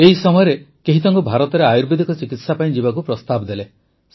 ଏହି ସମୟରେ କେହି ତାଙ୍କୁ ଭାରତରେ ଆୟୁର୍ବେଦିକ ଚିକିତ୍ସା ପାଇଁ ଯିବାକୁ ପ୍ରସ୍ତାବ ଦେଲେ